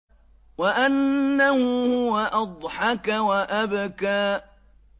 وَأَنَّهُ هُوَ أَضْحَكَ وَأَبْكَىٰ